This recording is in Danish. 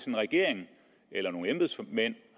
en regering eller nogle embedsmænd